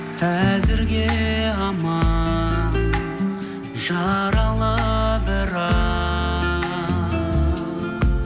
әзірге амал жаралы бірақ